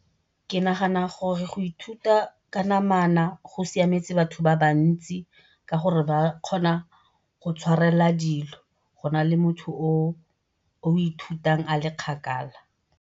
Ke nagana gore go ithuta ka namana go siametse batho ba bantsi ka gore ba kgona go tshwarelela dilo go nale motho o o ithutang a le kgakala.